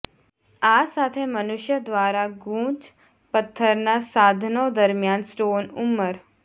આ સાથે મનુષ્ય દ્વારા ગૂંચ પથ્થરના સાધનો દરમિયાન સ્ટોન ઉંમર